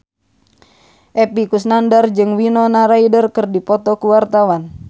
Epy Kusnandar jeung Winona Ryder keur dipoto ku wartawan